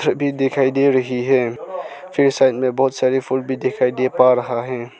चड्डी दिखाई दे रही है फिर साइड में बहोत सारे फूल भी दिखाई दे पा रहा है।